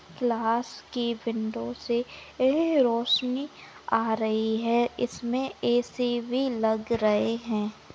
Class की window से एह रोशनी आ रही है इसमे ए_सी भी लग रहे है।